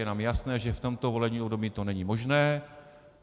Je nám jasné, že v tomto volebním období to není možné.